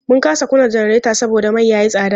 Mun kasa kunna janareta saboda mai ya yi tsada.